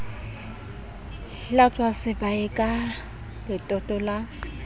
hlwatswa sebae ka letoto la